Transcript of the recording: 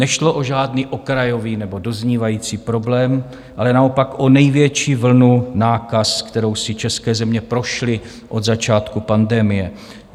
Nešlo o žádný okrajový nebo doznívající problém, ale naopak o největší vlnu nákaz, kterou si české země prošly od začátku pandemie.